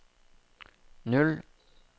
null